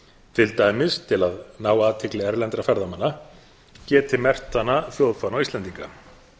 til dæmis til að ná athygli erlendra ferðamanna geti merkt hana þjóðfána íslendinga